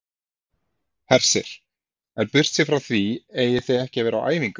Hersir: En burtséð frá því eigið þið ekki að vera á æfingu?